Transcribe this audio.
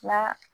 Nka